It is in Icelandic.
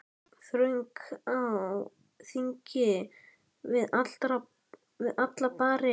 Þröng á þingi við alla bari.